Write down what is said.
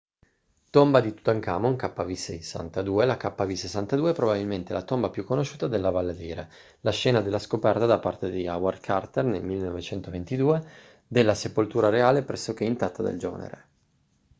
tomba di tutankhamon kv62. la kv62 è probabilmente la tomba più conosciuta della valle dei re la scena della scoperta da parte di howard carter nel 1922 della sepoltura reale pressoché intatta del giovane re